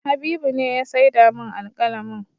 Habibu ne ya saida min alƙalamin